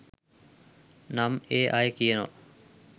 නම් ඒ අය කියනවා